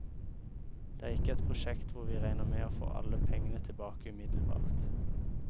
Det er ikke et prosjekt hvor vi regner med å få alle pengene tilbake umiddelbart.